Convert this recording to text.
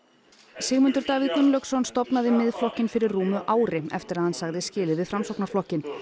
Sigmundur Davíð Gunnlaugsson stofnaði Miðflokkinn fyrir rúmu ári eftir að hann sagði skilið við Framsóknarflokkinn